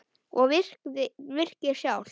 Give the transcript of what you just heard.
Og virkið sjálft?